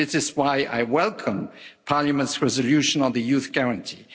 This is why I welcome Parliament's resolution on the Youth Guarantee.